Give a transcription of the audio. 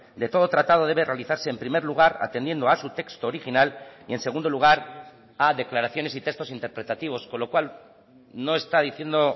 de todo tratado debe realizarse en primer lugar atendiendo a su texto original y en segundo lugar a declaraciones y textos interpretativos con lo cual no está diciendo